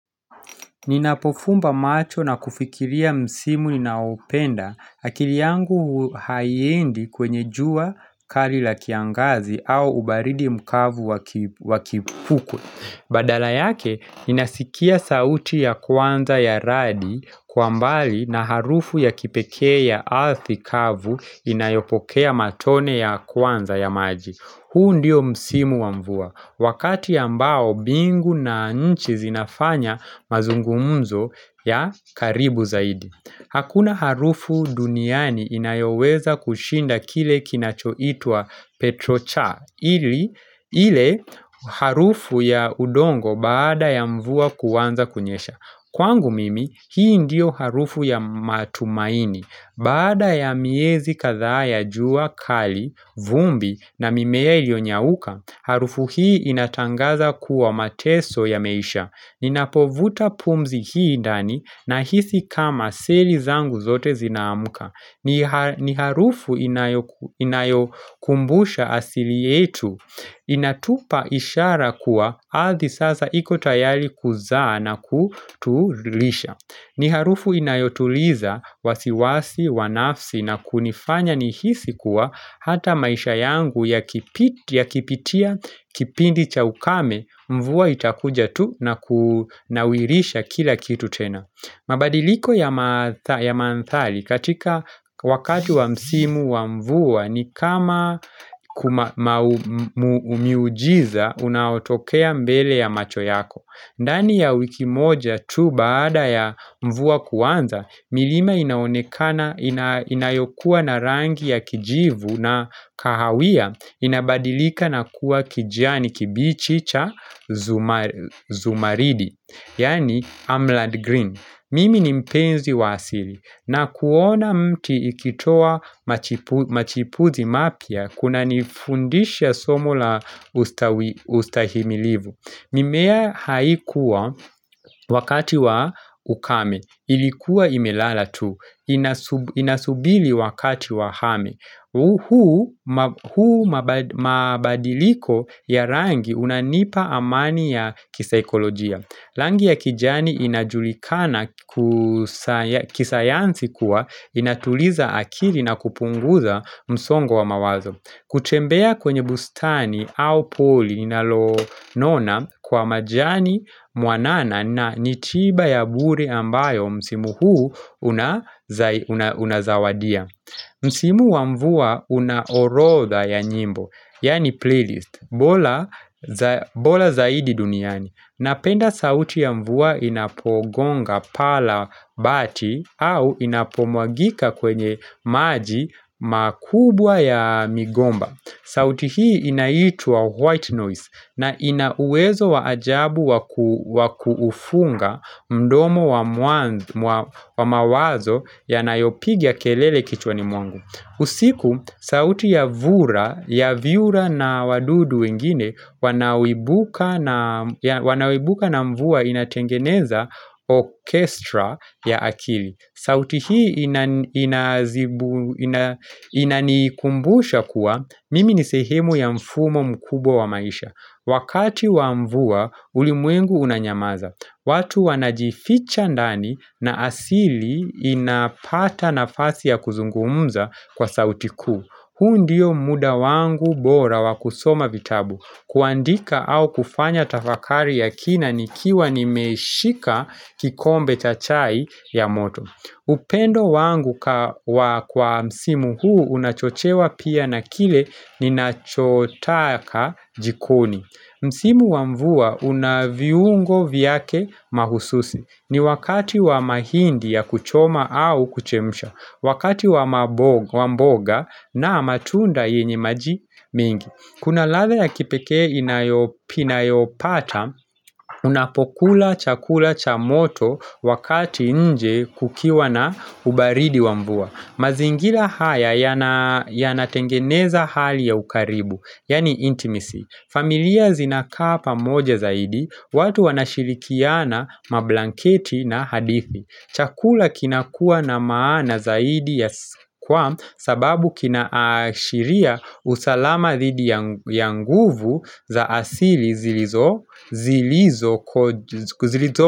Ninapofumba macho na kufikiria msimu ninaopenda, akili yangu haiendi kwenye jua kali la kiangazi au ubaridi mkavu wakipukue Badala yake, ninasikia sauti ya kwanza ya radi kwa mbali na harufu ya kipekee ya ardhi kavu inayopokea matone ya kwanza ya maji. Huu ndio msimu wa mvua, wakati ambao bingu na nchi zinafanya mazungumzo ya karibu zaidi. Hakuna harufu duniani inayoweza kushinda kile kinacho itwa Petrocha, ile harufu ya udongo baada ya mvua kuanza kunyesha. Kwangu mimi, hii ndiyo harufu ya matumaini. Baada ya miezi kadhaa ya jua, kali, vumbi na mimea ilionyauka, harufu hii inatangaza kuwa mateso yameisha. Ninapovuta pumzi hii ndani nahisi kama seli zangu zote zinaamka. Ni harufu inayokumbusha asili yetu. Inatupa ishara kuwa ardhi sasa iko tayari kuzaa na kutulisha ni harufu inayotuliza wasiwasi, wanafsi na kunifanya nihisi kuwa Hata maisha yangu yakipitia kipindi cha ukame Mvua itakuja tu na kunawirisha kila kitu tena mabadiliko ya ya mandhari katika wakati wa msimu wa mvua ni kama miujiza unaotokea mbele ya macho yako ndani ya wiki moja tu baada ya mvua kuanza milima inaonekana inayokuwa na rangi ya kijivu na kahawia inabadilika na kuwa kijani kibichi cha zumaridi Yani emerald green Mimi ni mpenzi wa asili na kuona mti ikitoa machipuzi mapia, kuna nifundisha somo la ustahimilivu mimea haikuwa wakati wa ukame, ilikuwa imelala tu, inasubiri wakati wa hame huwa mabadiliko ya rangi unanipa amani ya kisaokolojia rangi ya kijani inajulikana kisayansi kuwa inatuliza akili na kupunguza msongo wa mawazo Kuchembea kwenye bustani au poli inalo nona kwa majani muanana na ni tiba ya bure ambayo msimu huu unazawadia Msimu wa mvua una orotha ya nyimbo, yani playlist, bora zaidi duniani Napenda sauti ya mvua inapogonga paa la bati au inapomwagika kwenye maji makubwa ya migomba. Sauti hii inaitwa white noise na ina uwezo wa ajabu wa kuufunga mdomo wa mawazo ya nayopiga kelele kichwa ni mwangu. Usiku, sauti ya vyura na wadudu wengine, wanao ibuka na mvua inatengeneza orchestra ya akili. Sauti hii inanikumbusha kuwa mimi nisehemu ya mfumo mkubwa wa maisha. Wakati wa mvua, ulimwengu unanyamaza. Watu wanajificha ndani na asili inapata nafasi ya kuzungumza kwa sauti kuu. Huu ndio muda wangu bora wakusoma vitabu, kuandika au kufanya tafakari ya kina nikiwa nimeshika kikombe cha chai ya moto. Upendo wangu kwa msimu huu unachochewa pia na kile ninachotaka jikoni Msimu wa mvua una viungo vyake mahususi ni wakati wa mahindi ya kuchoma au kuchemsha Wakati wa mboga na matunda yenye maji mingi Kuna ladha ya kipekee inayopata, unapokula chakula cha moto wakati nje kukiwa na ubaridi wa mvua mazingira haya yana yana tengeneza hali ya ukaribu, yani intimacy familia zinakaa pamoja zaidi, watu wanashirikiana mablanketi na hadithi Chakula kinakuwa na maana zaidi ya kwasababu kina ashiria usalama dhidi ya nguvu za asili zilizo.